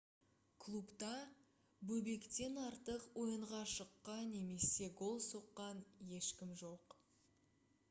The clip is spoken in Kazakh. клубта бобектен артық ойынға шыққа немесе гол соққан ешкім жоқ